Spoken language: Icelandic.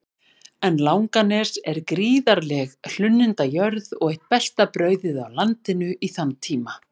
En Langanes er gríðarleg hlunnindajörð og eitt besta brauðið á landinu í þann tíma.